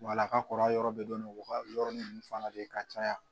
Wala ka kɔrɔ a yɔrɔ bɛ dɔni o ka yɔrɔnin fana de ye ka caya